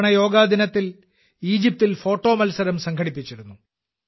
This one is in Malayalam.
ഇത്തവണ യോഗാ ദിനത്തിൽ ഈജിപ്തിൽ ഫോട്ടോ മത്സരം സംഘടിപ്പിച്ചിരുന്നു